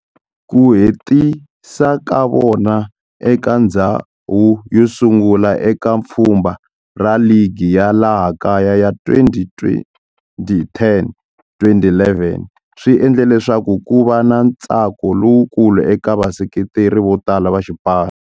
Ku hetisa ka vona eka ndzhawu yosungula eka pfhumba ra ligi ya laha kaya ya 2010-2011 swi endle leswaku kuva na ntsako lowukulu eka vaseketeri votala va xipano.